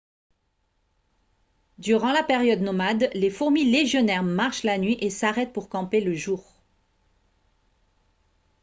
durant la période nomade les fourmis légionnaires marchent la nuit et s'arrêtent pour camper le jour